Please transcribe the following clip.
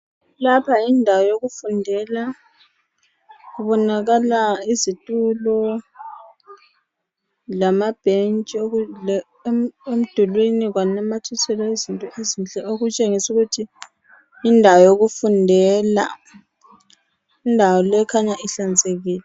Lapha yindawo yokufundela kubonakala izitulo lamabhentshi emdulwini kwanamathiselwa izinto ezinhle okutshengisa ukuthi yindawo yokufundela indawo le ikhanya ihlanzekile.